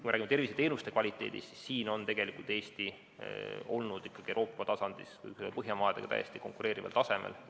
Kui räägime terviseteenuste kvaliteedist, siis siin on Eesti olnud Euroopaga või Põhjamaadega täiesti konkureerival tasemel.